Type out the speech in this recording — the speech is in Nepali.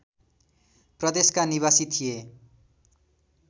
प्रदेशका निवासी थिए